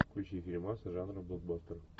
включи фильмас жанра блокбастер